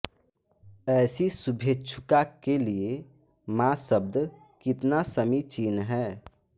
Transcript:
ऐसी शुभेच्छुका के लिये मा शब्द कितना समीचीन है